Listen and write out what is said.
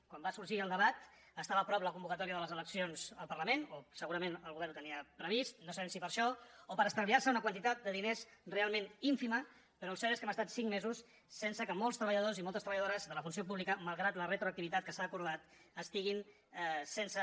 quan va sorgir el debat estava a prop la convocatòria de les eleccions al parlament o segurament el govern ho tenia previst no sabem si per això o per estalviar se una quantitat de diners realment ínfima però el cert és que hem estat cinc mesos sense que molts treballadors i moltes treballadores de la funció pública malgrat la retroactivitat que s’ha acordat estiguin sense